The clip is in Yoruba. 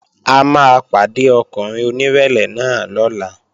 A máa pàdé ọkùnrin onírẹ̀lẹ̀ náà lọ́la